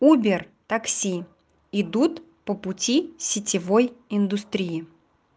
убер такси идут по пути сетевой индустрии